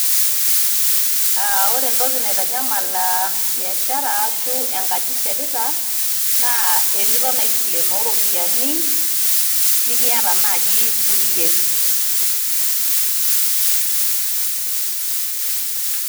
Ore entoki naitanyamal biashara arashu enkaji ishetita, na eniton aisilenoo ropiyaiani, nimiata naji kulie.